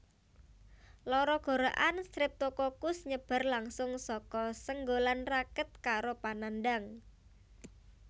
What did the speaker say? Lara gorokan Streptokokus nyebar langsung saka senggolan raket karo panandhang